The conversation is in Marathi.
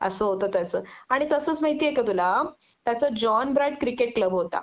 अस होत त्याच आणि तसंच माहिती आहे का तुला त्याच जॉन ब्राईट क्रिकेट क्लब होता